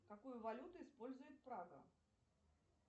какую валюту использует прага